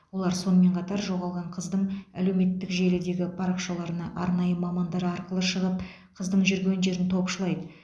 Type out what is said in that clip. олар сонымен қатар жоғалған қыздың әлеуметтік желідегі парақшаларына арнайы мамандар арқылы шығып қыздың жүрген жерін топшылайды